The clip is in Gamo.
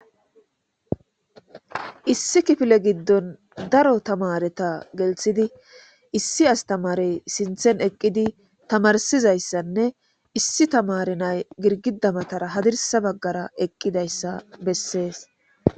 issi kifile giddon daro tamareta gelthidi issi astamarey sinthen eqqidi tamarsizayssanne issi tamari nay girgidamatara hadirsa baggara eqqidayssa bessees